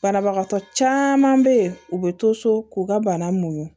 Banabagatɔ caman bɛ yen u bɛ to so k'u ka bana mu